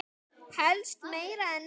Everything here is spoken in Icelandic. Helst meira en nóg.